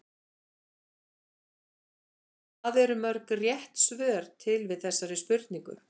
Hvað eru mörg rétt svör til við þessari spurningu?